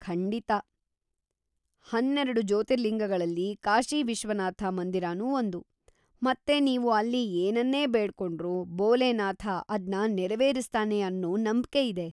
ಖಂಡಿತಾ, ಹನ್ನೆರ್ಡು ಜ್ಯೋತಿರ್ಲಿಂಗಗಳಲ್ಲಿ ಕಾಶಿ ವಿಶ್ವನಾಥ ಮಂದಿರನೂ ಒಂದು, ಮತ್ತೆ ನೀವು ಅಲ್ಲಿ ಏನನ್ನೇ ಬೇಡ್ಕೊಂಡ್ರೂ ಭೋಲೇನಾಥ ಅದ್ನ ನೆರವೇರಿಸ್ತಾನೆ ಅನ್ನೋ ನಂಬ್ಕೆಯಿದೆ.